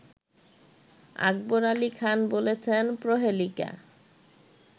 আকবর আলি খান বলেছেন প্রহেলিকা